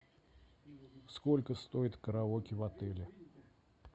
сколько стоит караоке в отеле